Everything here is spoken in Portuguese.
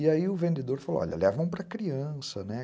E aí o vendedor falou, olha, levam para criança, né?